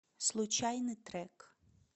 случайный трек